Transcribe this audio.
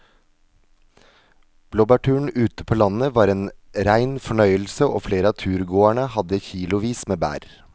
Blåbærturen ute på landet var en rein fornøyelse og flere av turgåerene hadde kilosvis med bær.